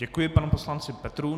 Děkuji panu poslanci Petrů.